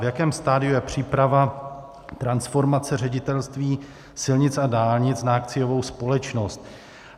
V jakém stadiu je příprava transformace Ředitelství silnic a dálnic na akciovou společnost?